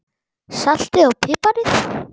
Saltið og piprið.